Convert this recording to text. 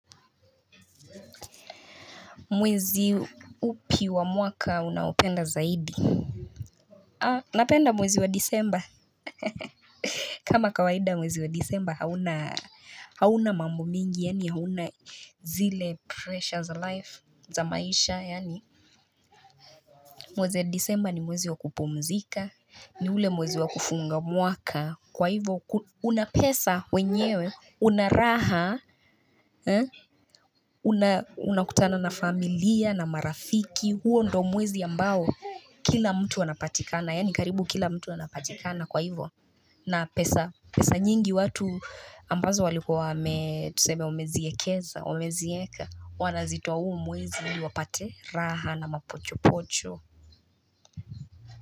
Mwezi upi wa mwaka unapenda zaidi Napenda mwezi wa disemba kama kawaida mwezi wa disemba hauna mambo mingi yani hauna zile precious life za maisha yani Mwezi wa disemba ni mwezi wa kupumzika ni ule mwezi wa kufunga mwaka kwa hivyo unapesa wenyewe unaraha unakutana na familia na marafiki huo ndo mwezi ya mbao Kila mtu wanapatikana yaani karibu kila mtu wanapatikana kwa hivyo na pesa pesa nyingi watu ambazo waliko wame tusebe umeziekeza umezieka wanazitua huu mwezi wapate raha na mapocho pocho.